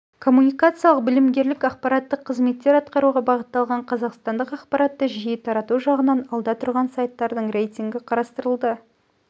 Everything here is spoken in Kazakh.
коммуникациялық білімгерлік ақпараттық қызметтер атқаруға бағытталған қазақстандық ақпаратты жиі тарату жағынан алда тұрған сайттардың рейтингі қарастырылды